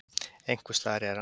Einhvers staðar er hann.